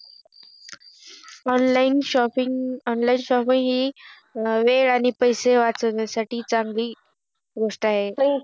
Online shoppin online shopping हि वेळ आणि पैसे वाचविण्यासाठी चान्गली गोष्ट आहे